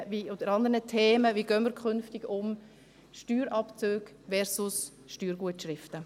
Wie gehen wir künftig damit um – Steuerabzügen versus Steuergutschriften?